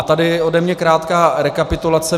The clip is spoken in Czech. A tady ode mě krátká rekapitulace.